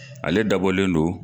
Ale dabɔlen don